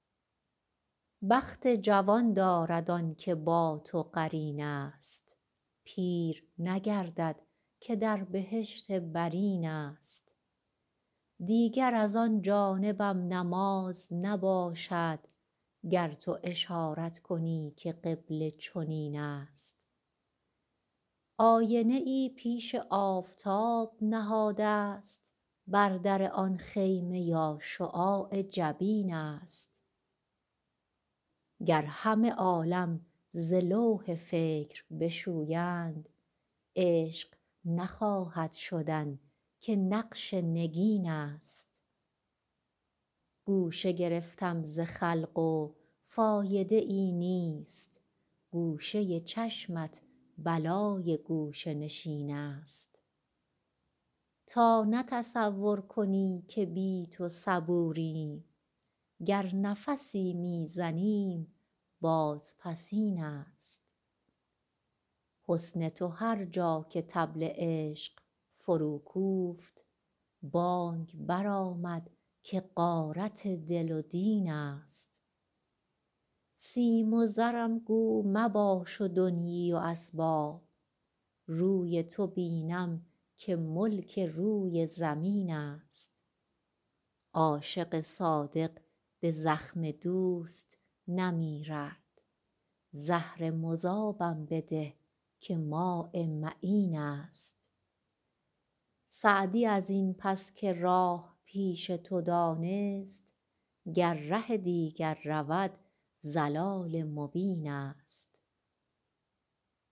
بخت جوان دارد آن که با تو قرین است پیر نگردد که در بهشت برین است دیگر از آن جانبم نماز نباشد گر تو اشارت کنی که قبله چنین است آینه ای پیش آفتاب نهادست بر در آن خیمه یا شعاع جبین است گر همه عالم ز لوح فکر بشویند عشق نخواهد شدن که نقش نگین است گوشه گرفتم ز خلق و فایده ای نیست گوشه چشمت بلای گوشه نشین است تا نه تصور کنی که بی تو صبوریم گر نفسی می زنیم بازپسین است حسن تو هر جا که طبل عشق فروکوفت بانگ برآمد که غارت دل و دین است سیم و زرم گو مباش و دنیی و اسباب روی تو بینم که ملک روی زمین است عاشق صادق به زخم دوست نمیرد زهر مذابم بده که ماء معین است سعدی از این پس که راه پیش تو دانست گر ره دیگر رود ضلال مبین است